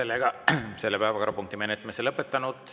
Oleme selle päevakorrapunkti menetlemise lõpetanud.